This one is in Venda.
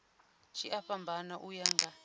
tshi a fhambana uya nga